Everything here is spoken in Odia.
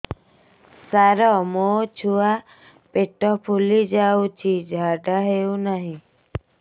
ସାର ମୋ ଛୁଆ ପେଟ ଫୁଲି ଯାଉଛି ଝାଡ଼ା ହେଉନାହିଁ